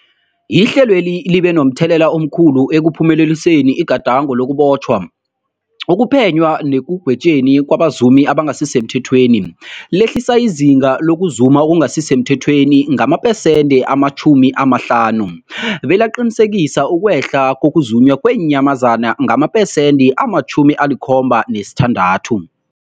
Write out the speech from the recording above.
Ihlelweli libe momthelela omkhulu ekuphumeleliseni igadango lokubotjhwa, ukuphenywa nekugwetjweni kwabazumi abangasisemthethweni, lehlisa izinga lokuzuma okungasi semthethweni ngamaphesenthe-50, belaqinisekisa ukwehla kokuzunywa kweenyamazana ngamaphesenthe-76.